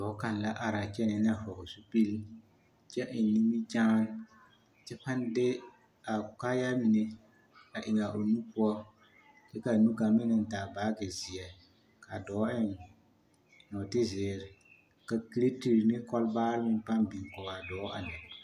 Dɔɔ kaŋ la araa kyɛnɛɛ na a hɔgele zupili kyɛ eŋ nimikyaane kyɛ pãã de a kaayaa mine a eŋ a o nu poɔ ky k'a nu kaŋa meŋ naŋ taa baagi zeɛ k'a dɔɔ eŋ nɔɔte zeere ka kiretiri ne kɔlbaare pãã biŋ kɔge a dɔɔ a lɛ.